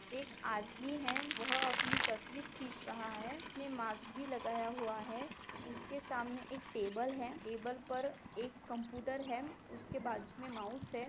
एक आदमी है वह अपनी तस्वीर खिच रहा है उसने मास्क भी लगाया हुआ है उसके सामने एक टेबल है टेबल पर एक कंपूटर है उसके बाजुमे माउस है।